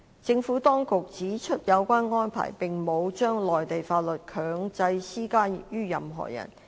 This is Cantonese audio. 政府當局指出有關安排沒有將內地法律強制施加於任何人。